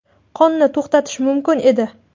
Qonni to‘xtatish mumkin edi.